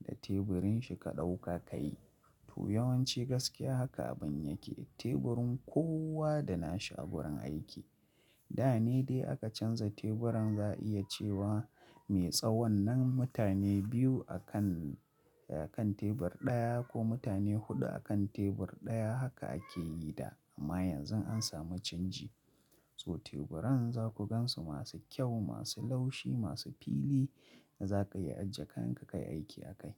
da teburin shi ka ɗauka ka yi. To yawanci gaskiya haka abun yake. Teburin kowa da nashi a gurin aiki. Da ne dai aka canza teburan za'a iya cewa mai tsawon nan mutane biyu a kan, a kan tebur ɗaya ko mutane huɗu a kan tebur ɗaya haka ake yi da. Amma yanzun an samu canji. So teburan za ku gansu masu kyau, masu laushi, masu fili da za ka iya ajiye kayan ka kai aiki akai.